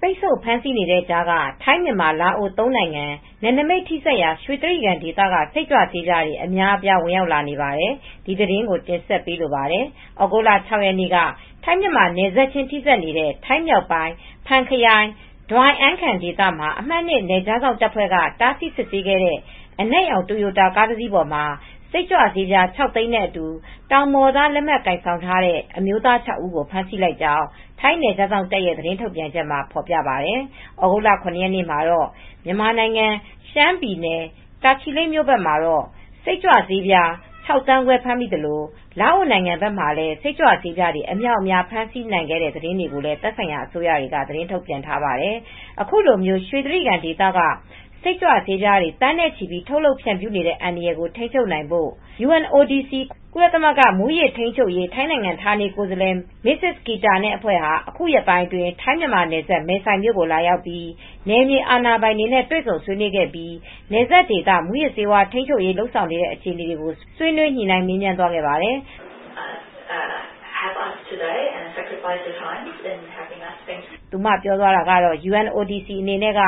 ပိတ်ဆို့ဖမ်းဆီးနေတဲ့ကြားက ထိုင်း၊ မြန်မာ၊ လာအို သုံးနိုင်ငံ နယ်နိမိတ်ချင်း ထိစပ်ရာ ရွှေတြိဂံဒေသက စိတ်ကြွဆေးပြားတွေ အများအပြား ဝင်ရောက်လာနေပါတယ်။ အပြည့်အစုံကို ထိုင်းအခြေစိုက် ဗွီအိုအေ မြန်မာပိုင်း သတင်းထောက် မအေးအေးမာ တင်ပြပေးထားပါတယ်။ သြဂုတ်လ ၆ ရက်နေ့က ထိုင်း-မြန်မာနယ်စပ်ချင်း ထိစပ်နေတဲ့ ထိုင်းမြောက်ပိုင်း ဖန်ခရိုင် ဒွိုင်အန်ခန်ဒေသမှာ အမှတ် ၂ နယ်ခြားစောင့်တပ်ဖွဲ့က တားဆီးစစ်ဆေးခဲ့တဲ့ အနက်ရောင် တိုယိုတာ ကားတစီးပေါ်မှာ စိတ်ကြွဆေးပြား ခြောက်သိန်းနဲ့အတူ တောင်ပေါ်သားလက်မှတ် ကိုင်ဆောင်ထားတဲ့ အမျိုးသား ၆ ဦးကို ဖမ်းဆီးလိုက်ကြောင်း ထိုင်းနယ်ခြားစောင့်တပ်ရဲ့ သတင်းထုတ်ပြန်ချက်မှာ ဖော်ပြထားပါတယ်။ သြဂုတ်လ ၇ ရက်နေ့မှာတော့ မြန်မာဘက် ရှမ်းပြည်နယ် တာချီလိတ်မြို့မှာ စိတ်ကြွဆေးပြား ၆ သန်းခွဲ ဖမ်းမိသလို လာအိုနိုင်ငံမှာလည်း စိတ်ကြွဆေးပြားတွေ အမြောက်အမြား ဖမ်းဆီးနိုင်ခဲ့တဲ့ သတင်းတွေကိုလည်း သက်ဆိုင်ရာ အစိုးရတွေက ထုတ်ပြန်ထားပါတယ်။ အခုလို ရွှေတြိဂံဒေသက စိတ်ကြွဆေးပြားတွေ သန်းနဲ့ချီ ထုတ်လုပ်ဖြန့်ဖြူးနေတဲ့ အန္တရာယ်ကို ထိန်းချုပ်နိုင်ငံဖို့ the United Nations Drug and Crime Office (UNODC) ကုလသမဂ္ဂ မူးယစ်ထိန်းချုပ်ရေး ထိုင်းနိုင်ငံ ဌာနေကိုယ်စားလှယ် Mrs. Kita Subbabal နဲ့အဖွဲ့ဟာ အခုရက်ပိုင်းအတွင်း ထိုင်း-မြန်မာနယ်စပ် မယ်ဆိုင်မြို့ကို လာရောက်ပြီး နယ်မြေအာဏာပိုင်တွေနဲ့ တွေ့ဆုံဆွေးနွေးခဲ့ပြီး နယ်စပ်ဒေသ မူးယစ်ဆေး ထိန်းချုပ်နိုင်ရေး လုပ်ဆောင်နေတဲ့ အခြေအနေတွေကို ဆွေးနွေးညှိနှိုင်း မေးမြန်းသွားခဲ့ပါတယ်။ “UNODC အနေနဲ့က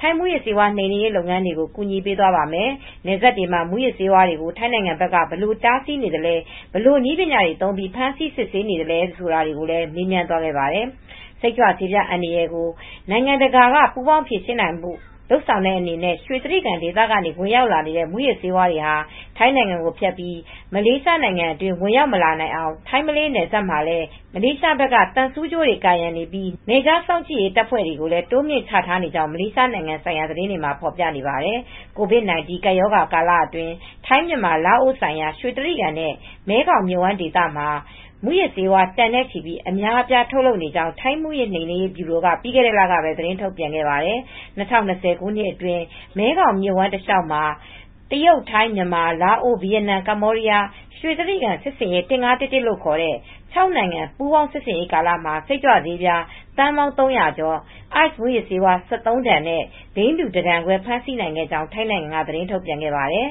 ထိုင်းမူးယစ်ဆေးဝါး နှိမ်နင်းရေး လုပ်ငန်းတွေကို ကူညီပေးသွားပါမယ်။ နယ်စပ်တွေမှာ မူးယစ်ဆေးဝါးတွေကို ထိုင်းဘက်ကနေ ဘယ်လိုတားဆီးနေသလဲ၊ ဘယ်လိုနည်းပညာတွေ သုံးပြီး ဖမ်းဆီးစစ်ဆေးမှုတွေ လုပ်နေသလဲ ဆိုတာတွေကိုလည်း မေးမြန်းသွားခဲ့ပါတယ်။” စိတ်ကြွဆေးပြား အန္တရာယ်ကို နိုင်ငံတကာ ပူးပေါင်းဖြေရှင်းနိုင်ဖို့ လုပ်ဆောင်တဲ့အနေနဲ့ ရွှေတြိဂံဒေသကနေ ဝင်လာတဲ့ မူးယစ်ဆေးတွေဟာ ထိုင်းကိုဖြတ်ပြီး မလေးရှားနိုင်ငံအတွင်း ဝင်ရောက်မလာနိုင်အောင် ထိုင်း-မလေးရှား နယ်စပ်မှာလည်း မလေးရှားဘက်က သံဆူးကြိုးတွေ ကာရံနေပြီး နယ်ခြားစောင့်ကြည့်ရေးတပ်ဖွဲ့တွေ တိုးမြှင့် ချထားနေကြောင်း မလေးရှားနိုင်ငံ သတင်းတွေမှာ ဖော်ပြထားပါတယ်။ COVID-19 ကပ်ရောဂါကာလအတွင်း ထိုင်း၊ မြန်မာ၊ လာအိုဆုံရာ ရွှေတြိဂံနဲ့ မဲခေါင်မြစ်ဝှမ်းဒေသမှာ မူးယစ်ဆေးဝါး တန်နဲ့ချီပြီး အမြောက်အမြား ထုတ်လုပ်နေကြောင်း ထိုင်းမူးယစ်နှိမ်နင်းရေးဗျူရိုက ပြီးခဲ့တဲ့လကပဲ သတင်းထုတ်ပြန်ခဲ့ပါတယ်။ ၂၀၂၀ ခုနှစ်အတွင်း မဲခေါင်မြစ်ဝှမ်းတလျှောက်မှာ တရုတ်၊ ထိုင်း၊ မြန်မာ၊ လာအို၊ ဗီယက်နမ်၊ ရွှေတြိဂံစစ်ဆင်ရေး ၁၅၁၁ လို့ခေါ်တဲ့ ခြောက်နိုင်ငံ ပူးပေါင်းစစ်ဆင်ရေးကာလမှာ စိတ်ကြွဆေးပြား သန်းပေါင်း ၃၀၀ ကျော်၊ ICE မူးယစ်ဆေး ၁၃ တန်နဲ့ ဘိန်းဖြူတတန်ခွဲ ဖမ်းဆီးနိုင်ခဲ့ကြောင်း ထိုင်းနိုင်ငံက သတင်းထုတ်ပြန်ခဲ့ပါတယ်